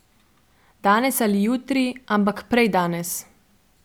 Danes ali jutri, ampak prej danes.